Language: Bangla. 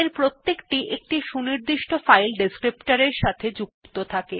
প্রতিটি একটি সুনির্দিষ্ট ফাইল descriptor এর সাথে যুক্ত থাকে